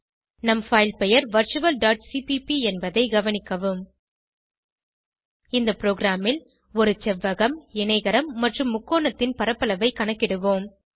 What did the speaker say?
நம் பைல் பெயர் virtualசிபிபி என்பதை கவனிக்கவும் இந்த ப்ரோகிராமில் ஒரு செவ்வகம் இணைகரம் மற்றும் முக்கோணத்தின் பரப்பளவை கணக்கிடுவோம்